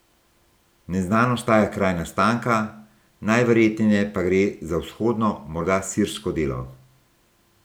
Neznan ostaja kraj nastanka, najverjetneje pa gre za vzhodno, morda sirsko delo.